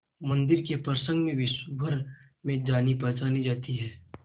मंदिर के प्रसंग में विश्वभर में जानीपहचानी जाती है